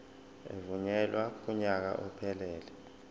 evunyelwe kunyaka ophelele